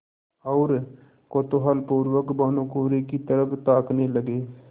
और कौतूहलपूर्वक भानुकुँवरि की तरफ ताकने लगे